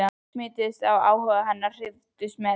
smituðust af áhuga hennar, hrifust með.